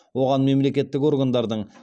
оған мемлекеттік органдардың